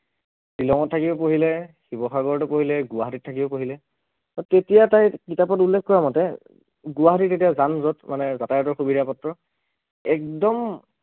শ্ৱিলঙত থাকিও পঢ়িলে, শিৱসাগৰতো পঢ়িলে, গুৱাহাটীত থাকিও পঢ়িলে, তেতিয়া তাই কিতাপত উল্লেখ কৰা মতে গুৱাহাটীত কেতিয়াও জান জট মানে যাতায়তৰ সুবিধা পত্ৰ, একদম